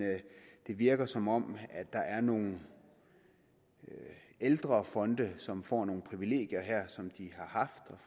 det virker som om der er nogle ældre fonde som får nogle privilegier her som de har haft